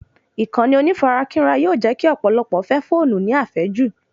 Ìkànnì onífarakínra yóò jẹ́ kí ọ̀pọ̀lọpọ̀ fẹ́ fóònù ní àfẹ́jù